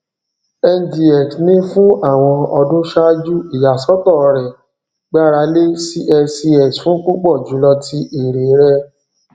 ngx ni fun awọn ọdun ṣaaju iyasọtọ rẹ gbarale cscs fun pupọ julọ ti ere rẹ